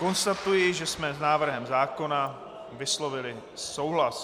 Konstatuji, že jsme s návrhem zákona vyslovili souhlas.